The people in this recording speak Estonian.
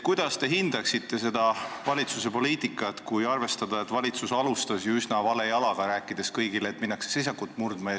Kuidas te hindaksite selle valitsuse poliitikat, kui arvestada, et valitsus alustas ju üsna vale jalaga, rääkides kõigile, et minnakse seisakut murdma?